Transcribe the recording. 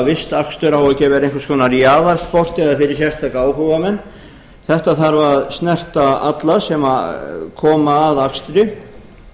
vistakstur á ekki að vera einhvers konar jaðarsport eða fyrir sérstaka áhugamenn þetta þarf að snerta alla sem koma að akstri